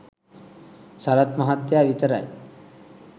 සරත් මහත්තයා විතරයි.